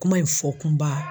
Kuma in fɔ kunba